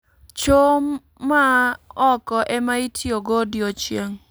Choo mar oko ema itiyo go odiechieng'